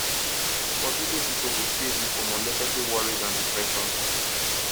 forgiving pipo go save you from unnecessary worries and depression